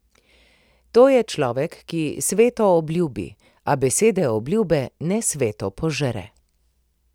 To je človek, ki sveto obljubi, a besede obljube nesveto požre.